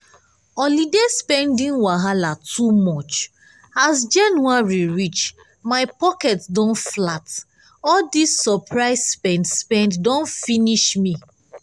holiday spending wahala too much! as january reach my pocket don flat all dis surprise spend-spend don finish me.